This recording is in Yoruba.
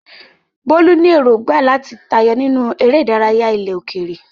Bolu ní èrògbà láti tayọ nínú eré ìdárayá ilẹ̀ òkèèrè.